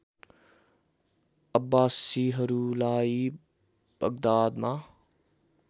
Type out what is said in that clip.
अब्बासीहरूलाई बगदादमा